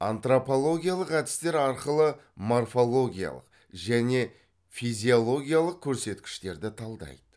антропологиялық әдістер арқылы морфологиялық және физиологиялық көрсеткіштерді талдайды